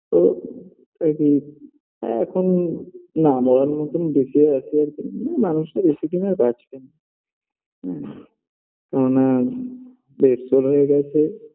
তো আর কি আ এখন না মরার মতন বেঁচে আছে আরকি এখন মানুষটা বেশিদিন বাঁচবে না কেননা bed soul হয়ে গেছে